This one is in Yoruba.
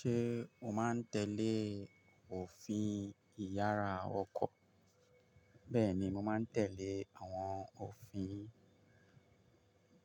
Ṣé o máa ń tẹ́lẹ̀ òfin ìyára ọkọ̀? Bẹ́ẹ̀ni, mo máa ń tẹ́lẹ̀ àwọn òfin.